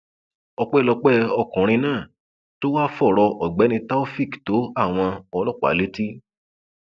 ọpẹlọpẹ ọkùnrin náà tó wáá fọrọ ọgbẹni taofeek tó àwọn ọlọpàá létí